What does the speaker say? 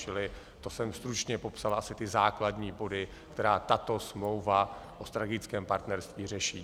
Čili to jsem stručně popsal asi ty základní body, které tato smlouva o strategickém partnerství řeší.